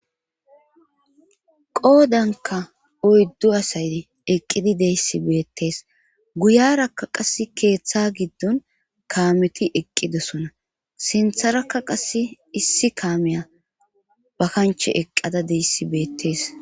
Qoodanka oyddu asay eqqidi deyssi beettes guyarakka qass keeththa giddon kaameti eqqidosona sintharakka qase issi kaameya ba kanche eqqada deyssi beettees.